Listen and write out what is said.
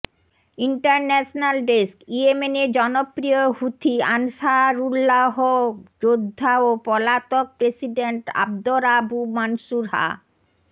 international desk ইয়েমেনের জনপ্রিয় Houthi Ansarullah যোদ্ধা ও পলাতক প্রেসিডেন্ট আব্দ রাব্বু মানসুর হা